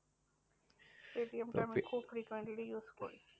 পেটিএমটা আমি খুব frequently use করি।